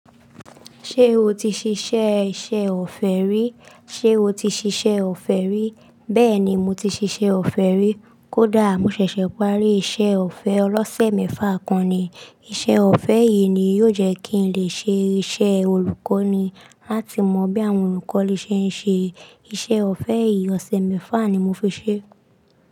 Ṣé o ti ṣiṣẹ́ iṣẹ́ ọ̀fẹ́ rí? Ṣé o ti ṣiṣẹ́ ọ̀fẹ́ rí? Bẹ́ẹ̀ ni, mo ti ṣiṣẹ́ ọ̀fẹ́ rí. Kódà mo ṣẹ̀ṣẹ̀ parí iṣẹ́ ọ̀fẹ́ ọlọ́sẹ̀ mẹ́fà kan ni. Iṣẹ́ ọ̀fẹ́ yìí ni yóò jẹ́ kí n lè ṣe iṣẹ́ olùkọ́ ni láti mọ bí àwọn olùkọ́ ni ṣe ń ṣe. Iṣẹ́ ọ̀fẹ́ yì ọ̀sẹ̀ mẹ́fà ni mo fi ṣé.